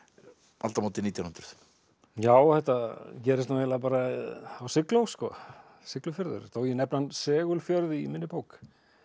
aldamótin nítján hundruð já þetta gerist nú eiginlega bara á sigló Siglufjörður þó ég nefni hann í minni bók